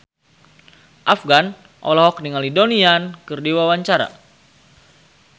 Afgan olohok ningali Donnie Yan keur diwawancara